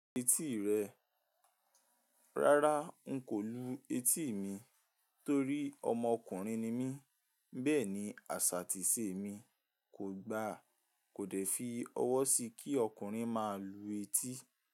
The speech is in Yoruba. Etí rẹ, rárá n kò lu etí mi torí ọmọkùnrin ni mí, bẹ́ẹ̀ ni àṣà àtìsẹ̀ mi kò gbà, kò dẹ̀ fi ọwọ́ sí kí ọkùnrin máa lu etí.